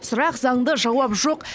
сұрақ заңды жауап жоқ